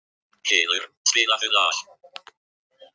Hylur, spilaðu lag.